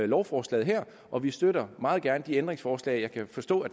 lovforslaget her og vi støtter meget gerne de ændringsforslag jeg kan forstå